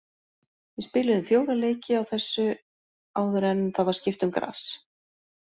Við spiluðum fjóra leiki á þessu áður en það var skipt um gras.